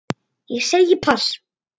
Ég segi pass.